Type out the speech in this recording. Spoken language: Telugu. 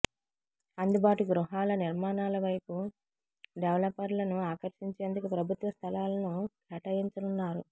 అందుబాటు గృహాల నిర్మాణాల వైపు డెవలపర్లను ఆకర్షించేందుకు ప్రభుత్వ స్థలాలను కేటాయించనున్నారు